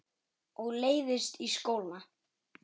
Og leiðist í skóla.